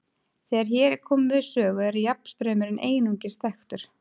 Þegar hér er komið við sögu er jafnstraumurinn einungis þekktur.